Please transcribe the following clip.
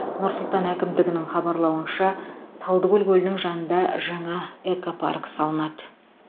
нұр сұлан әкімдігінің хабарлауынша талдыкөл көлінің жанында жаңа экопарк салынады